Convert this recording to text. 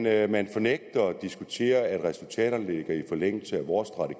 at man nægter at diskutere at resultaterne ligger i forlængelse af vores